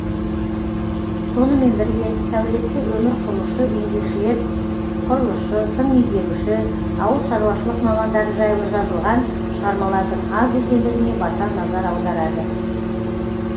сонымен бірге сәулетті өмір құрушы еңбекшілер құрылысшы тың игеруші ауыл шаруашылық мамандары жайлы жазылған шығармалардың аз екендігіне баса назар аударады